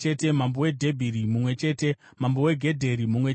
mambo weDhebhiri mumwe chete mambo weGedheri mumwe chete